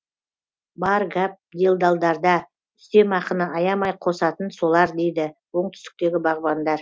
бар гәп делдалдарда үстемақыны аямай қосатын солар дейді оңтүстіктегі бағбандар